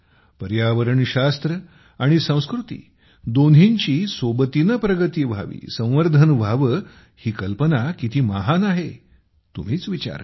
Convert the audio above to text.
पर्यावरण शास्त्र आणि संस्कृती दोन्हींची सोबतीने प्रगती व्हावी संवर्धन व्हावे ही कल्पना किती महान आहे तुम्हीच विचार करा